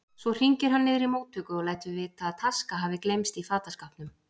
Svo hringir hann niður í móttöku og lætur vita að taska hafi gleymst í fataskápnum.